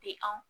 Tɛ anw